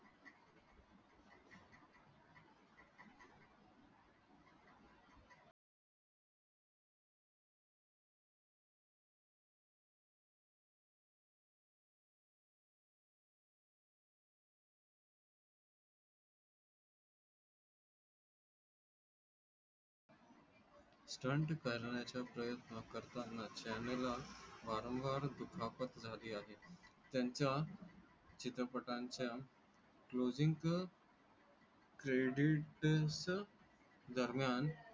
stunt करण्याचा प्रयत्न करताना चैन ला वारंवार दुखापत झाली आहे त्यांच्या. चित्रपटांच्या closing credit दरम्यान.